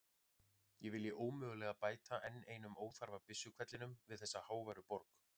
Ég vilji ómögulega bæta enn einum óþarfa byssuhvellinum við þessa háværu borg.